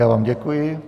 Já vám děkuji.